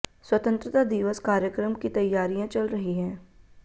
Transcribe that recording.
स्वतंत्रता दिवस कार्यक्रम की तैयारियां चल रही हैं